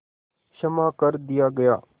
क्षमा कर दिया गया